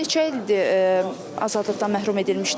Neçə ildir azadlıqdan məhrum edilmişdir?